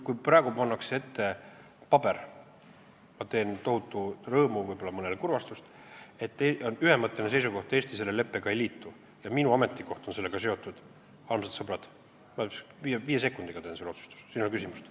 Kui praegu pannakse ette paber , et on ühemõtteline seisukoht, et Eesti selle leppega ei liitu ja minu ametikoht on sellega seotud, siis, armsad sõbrad, viie sekundiga teen selle otsustuse, siin ei ole küsimust.